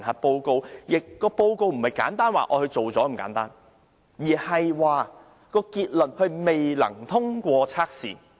再者，評核報告並非簡單說她已完成署任，而是說她未能通過測試。